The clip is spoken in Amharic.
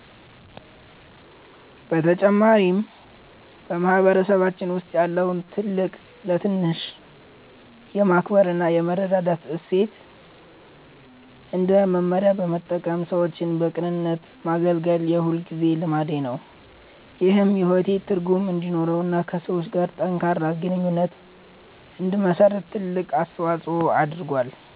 በተጨማሪም፣ በማህበረሰባችን ውስጥ ያለውን ትልቅ ለትንሽ የማክበር እና የመረዳዳት እሴት እንደ መመሪያ በመጠቀም ሰዎችን በቅንነት ማገልገል የሁልጊዜ ልማዴ ነው። ይህም ሕይወቴ ትርጉም እንዲኖረውና ከሰዎች ጋር ጠንካራ ግንኙነት እንድመሰርት ትልቅ አስተዋጽኦ አድርጓል።